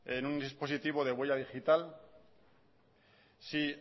en un dispositivo de huella digital si